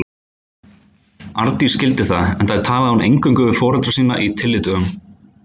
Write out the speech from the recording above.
Arndís skildi það, enda talaði hún eingöngu við foreldra sína á tyllidögum.